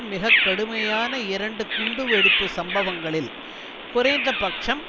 மிக கடுமையான இரண்டு குண்டுவெடிப்பு சம்பவங்களில் குறைந்த பட்சம்